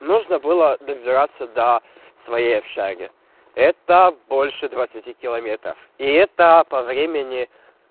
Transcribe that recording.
нужно было добираться до своей общаги это больше двадцати километров и это по времени